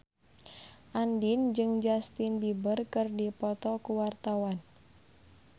Andien jeung Justin Beiber keur dipoto ku wartawan